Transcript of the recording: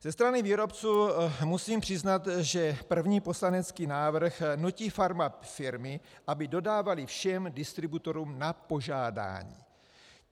Ze strany výrobců musím přiznat, že první poslanecký návrh nutí farmafirmy, aby dodávaly všem distributorům na požádání.